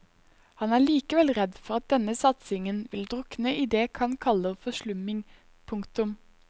Han er likevel redd for at denne satsingen vil drukne i det kan kaller forslumming. punktum